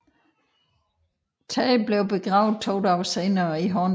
Tage blev begravet to dage senere i Hornbæk